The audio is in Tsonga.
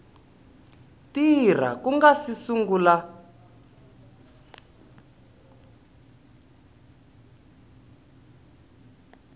tirha ku nga si sungula